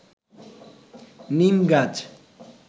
নিম গাছ